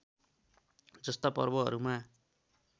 जस्ता पर्वहरूमा